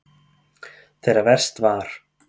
Þegar verst var.